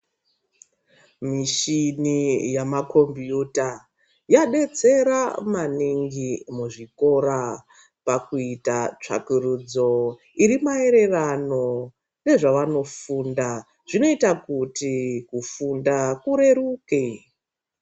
Michini yamakombiyuta yadetsera maningi muzvikora pakuita tsvakurudzo iri maererano nezvevanofunda zvinoita kuti kufunda kureruke.